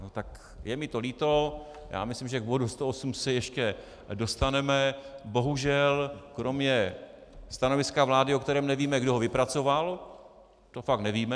No tak, je mi to líto, já myslím, že k bodu 108 se ještě dostaneme, bohužel kromě stanoviska vlády, o kterém nevíme, kdo ho vypracoval, to fakt nevíme.